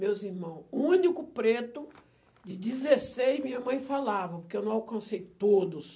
Meus irmãos, o único preto de dezesseis, minha mãe falavam, que eu não alcancei todos.